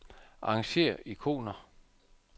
Arrangér ikoner.